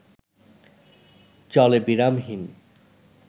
চলে বিরামহীন